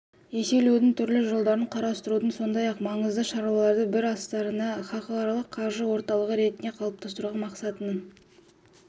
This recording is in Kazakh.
еселеудің түрлі жолдарын қарастыруда сондай маңызды шаралардың бірі астананы халықаралық қаржы орталығы ретінде қалыптастыру мақсатының